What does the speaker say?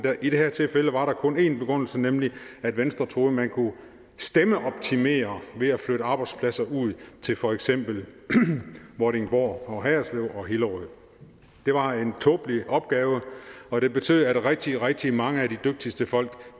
i det her tilfælde var der kun en begrundelse nemlig at venstre troede at man kunne stemmeoptimere ved at flytte arbejdspladser ud til for eksempel vordingborg og haderslev og hillerød det var en tåbelig opgave og det betød at rigtig rigtig mange af de dygtigste folk